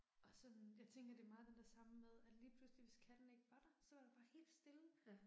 Og sådan, jeg tænker det er meget den der samme med, at lige pludselig hvis katten ikke var der, så var der bare helt stille